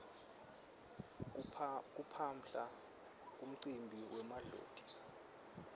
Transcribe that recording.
kuphaphla kumcimbi wemadloti